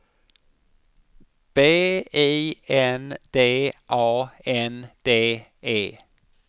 B I N D A N D E